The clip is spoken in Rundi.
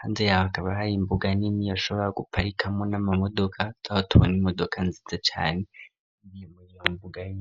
hanze yaho akaba hari imbuga nini bashobora guparikamo n'amamodoka twa tubona imodoka nzize cane imiemuy mbuga yonyene.